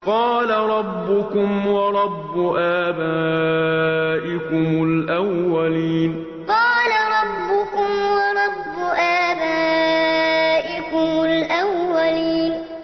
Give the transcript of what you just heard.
قَالَ رَبُّكُمْ وَرَبُّ آبَائِكُمُ الْأَوَّلِينَ قَالَ رَبُّكُمْ وَرَبُّ آبَائِكُمُ الْأَوَّلِينَ